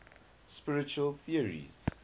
spiritual theories